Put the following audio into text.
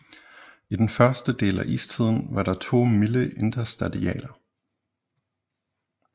I den første del af istiden var der to milde interstadialer